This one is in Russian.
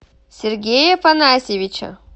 сергея афанасьевича